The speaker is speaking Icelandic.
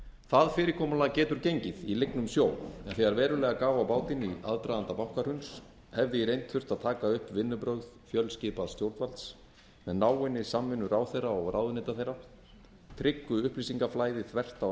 það fyrirkomulag getur gengið í lygnum sjó en þegar verulega gaf á bátinn í aðdraganda bankahruns hefði í reynd þurft að taka upp vinnubrögð fjölskipaðs stjórnvalds með náinni samvinnu ráðherra og ráðuneyta þeirra tryggu upplýsingaflæði þvert á